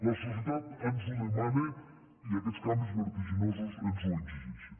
la societat ens ho demana i aquests canvis vertiginosos ens ho exigeixen